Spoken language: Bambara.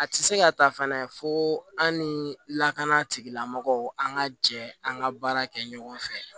A tɛ se ka ta fana fo an ni lakana tigilamɔgɔw an ka jɛ an ka baara kɛ ɲɔgɔn fɛ